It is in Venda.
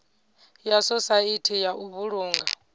ya sosaithi ya u vhulunga